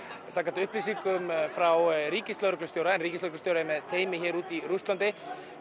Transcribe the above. samkvæmt upplýsingum frá ríkislögreglustjóra en ríkislögreglustjóri er með teymi hér úti í Rússlandi